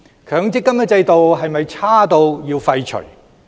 強積金制度是否差至要廢除？